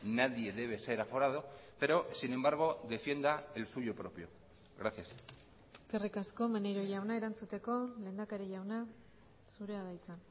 nadie debe ser aforado pero sin embargo defienda el suyo propio gracias eskerrik asko maneiro jauna erantzuteko lehendakari jauna zurea da hitza